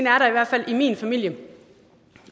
er der i hvert fald i min familie